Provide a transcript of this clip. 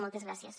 moltes gràcies